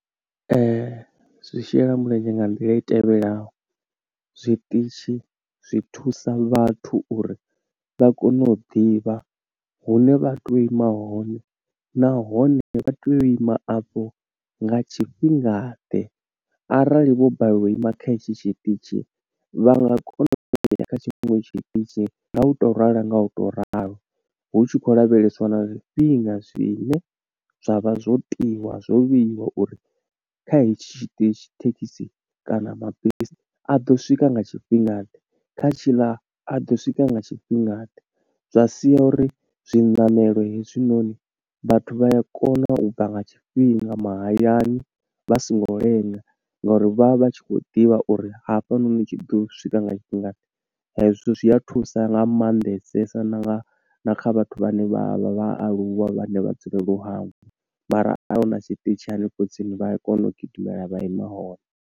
Zwi shela mulenzhe nga nḓila i tevhelaho. Zwiṱitshi zwi thusa vhathu uri vha kone u ḓivha hune vha tea u ima hone, nahone vha tea u ima afho nga tshifhinga ḓe, arali vho balelwa u ima kha hetshi tshiṱitshi vha nga kona uya kha tshiṅwe tshiṱitshi nga u to ralo nga u to ralo. Hu tshi khou lavheleswa na zwifhinga zwine zwa vha zwo tiiwa, zwo vheiwa uri kha hetshi tshiṱitshi thekhisi kana mabisi a ḓo swika nga tshifhinga ḓe, kha tshiḽa a ḓo swika nga tshifhinga ḓe. Zwa sia uri zwiṋamelo hezwinoni vhathu vha ya kona u bva nga tshifhinga mahayani, vha songo lenga ngo uri vha vha tshi khou ḓivha uri hafhanoni tshi ḓo swika nga tshifhinga ḓe. Hezwo zwi a thusa nga maanḓesesa na na kha vhathu vhane vha vha vha aluwa vhane vha dzulele u hangwa, mara huna tshiṱitshi hanefho tsini vha a kona u gidimela vha ima hone.